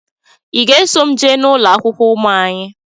I ga-eso m jee n'ụlọakwụkwọ ụmụ anyị?